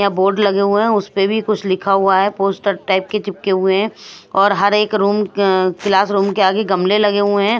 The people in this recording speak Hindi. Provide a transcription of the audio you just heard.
यहाँ बोर्ड लगे हुए हैं उस पे भी कुछ लिखा हुआ है पोस्टर टाइप के चिपके हुए हैं और हर एक रूम अ क्लास रूम के आगे गममें लगे हुए हैं।